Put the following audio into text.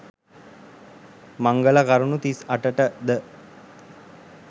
මංගල කරුණු 38 ටද